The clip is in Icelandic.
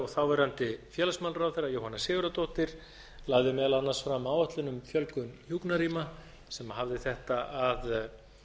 þáverandi félagsmálaráðherra jóhanna sigurðardóttir lagði meðal annars fram áætlun um fjölgun hjúkrunarrýma sem hafði þetta að